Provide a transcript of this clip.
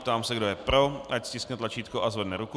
Ptám se, kdo je pro, ať stiskne tlačítko a zvedne ruku.